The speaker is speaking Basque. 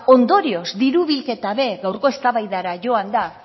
ondorioz diru bilketa ere gaurko eztabaidara joanda